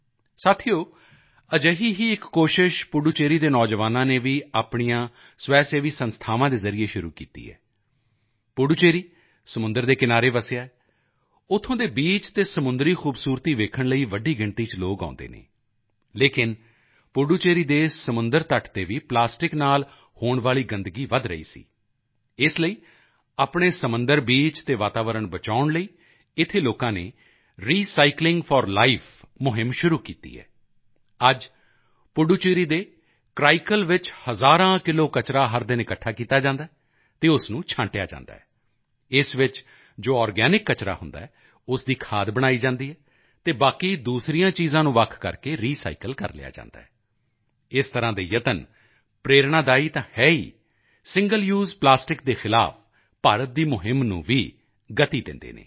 ਸਾਥੀਓ ਅਜਿਹੀ ਹੀ ਇੱਕ ਕੋਸ਼ਿਸ਼ ਪੁੱਡੂਚੇਰੀ ਦੇ ਨੌਜਵਾਨਾਂ ਨੇ ਵੀ ਆਪਣੀਆਂ ਸਵੈਸੇਵੀ ਸੰਸਥਾਵਾਂ ਦੇ ਜ਼ਰੀਏ ਸ਼ੁਰੂ ਕੀਤੀ ਹੈ ਪੁੱਡੂਚੇਰੀ ਸਮੁੰਦਰ ਦੇ ਕਿਨਾਰੇ ਵਸਿਆ ਹੈ ਉੱਥੋਂ ਦੇ ਬੀਚ ਅਤੇ ਸਮੁੰਦਰੀ ਖੂਬਸੂਰਤੀ ਵੇਖਣ ਲਈ ਵੱਡੀ ਗਿਣਤੀ ਚ ਲੋਕ ਆਉਂਦੇ ਹਨ ਲੇਕਿਨ ਪੁੱਡੂਚੇਰੀ ਦੇ ਸਮੁੰਦਰ ਤਟ ਤੇ ਵੀ ਪਲਾਸਟਿਕ ਨਾਲ ਹੋਣ ਵਾਲੀ ਗੰਦਗੀ ਵਧ ਰਹੀ ਸੀ ਇਸ ਲਈ ਆਪਣੇ ਸਮੁੰਦਰ ਬੀਚ ਅਤੇ ਵਾਤਾਵਰਣ ਬਚਾਉਣ ਲਈ ਇੱਥੇ ਲੋਕਾਂ ਨੇ ਰੀਸਾਈਕਲਿੰਗ ਫੌਰ ਲਾਈਫ ਮੁਹਿੰਮ ਸ਼ੁਰੂ ਕੀਤੀ ਹੈ ਅੱਜ ਪੁੱਡੂਚੇਰੀ ਦੇ ਕਰਾਈਕਲ ਵਿੱਚ ਹਜ਼ਾਰਾਂ ਕਿਲੋ ਕਚਰਾ ਹਰ ਦਿਨ ਇਕੱਠਾ ਕੀਤਾ ਜਾਂਦਾ ਹੈ ਅਤੇ ਉਸ ਨੂੰ ਛਾਂਟਿਆ ਜਾਂਦਾ ਹੈ ਇਸ ਵਿੱਚ ਜੋ ਔਰਗੈਨਿਕ ਕਚਰਾ ਹੁੰਦਾ ਹੈ ਉਸ ਦੀ ਖਾਦ ਬਣਾਈ ਜਾਂਦੀ ਹੈ ਅਤੇ ਬਾਕੀ ਦੂਸਰੀਆਂ ਚੀਜ਼ਾਂ ਨੂੰ ਵੱਖ ਕਰਕੇ ਰੀਸਾਈਕਲ ਕਰ ਲਿਆ ਜਾਂਦਾ ਹੈ ਇਸ ਤਰ੍ਹਾਂ ਦੇ ਯਤਨ ਪ੍ਰੇਰਣਾਦਾਈ ਤਾਂ ਹੈ ਹੀ ਸਿੰਗਲ ਯੂਸ ਪਲਾਸਟਿਕ ਦੇ ਖ਼ਿਲਾਫ਼ ਭਾਰਤ ਦੀ ਮੁਹਿੰਮ ਨੂੰ ਵੀ ਗਤੀ ਦਿੰਦੇ ਹਨ